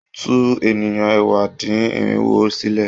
Tú ènìyàn ẹ̀wá-dín-irinwo sílẹ̀.